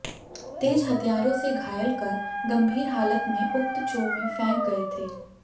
तेज हथियारों से घायल कर गंभीर हालत में उक्त चो में फैंक गए थे